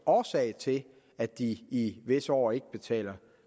årsagen til at de her i visse år ikke betaler